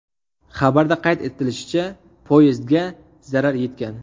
Xabarda qayd etilishicha, poyezdga zarar yetgan.